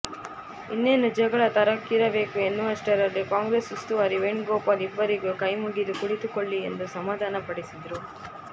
ಇನ್ನೇನು ಜಗಳ ತರಕಕ್ಕೇರಬೇಕು ಎನ್ನುವಷ್ಟರಲ್ಲಿ ಕಾಂಗ್ರೆಸ್ ಉಸ್ತುವಾರಿ ವೇಣುಗೋಪಾಲ್ ಇಬ್ಬರಿಗೂ ಕೈ ಮುಗಿದು ಕುಳಿತುಕೊಳ್ಳಿ ಎಂದು ಸಮಾಧಾನ ಪಡಿಸಿದರು